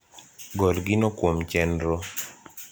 gol gino kuom chenro